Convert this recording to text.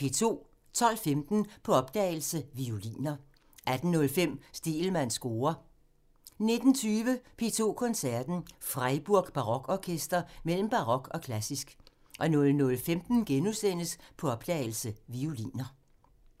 12:15: På opdagelse – Violiner 18:05: Stegelmanns score (tir) 19:20: P2 Koncerten – Freiburg Barokorkester mellem barok og klassisk 00:15: På opdagelse – Violiner *